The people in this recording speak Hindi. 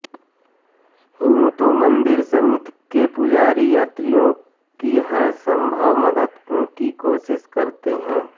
यूं तो मंदिर समिति के पुजारी यात्रियों की हर संभव मदद की कोशिश करते हैं